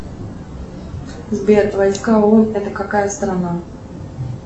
сбер войска оон это какая страна